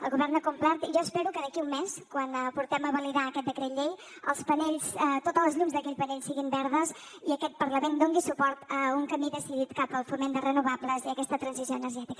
el govern ha complert i jo espero que d’aquí a un mes quan portem a validar aquest decret llei totes les llums d’aquell panell siguin verdes i aquest parlament doni suport a un camí decidit cap al foment de renovables i aquesta transició energètica